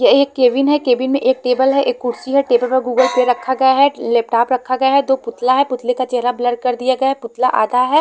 यह एक केबिन है केबिन में एक टेबल है कुर्सी है टेबल पे गूगल पे रखा गया है लैपटॉप रखा गया है दो पुतला है पुतले का चेहरा ब्लर कर दिया है पुतला आधा है।